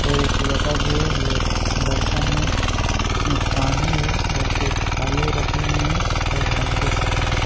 और एक लोटा भी है लो बर्तन में यहाँ पानी हैं और दो थाली रखे हुए हैं और हल्दी कुछ--